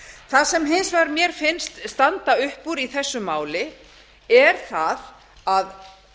það sem hins vegar mér finnst standa upp úr í þessu máli er það að